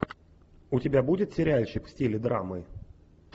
у тебя будет сериальчик в стиле драмы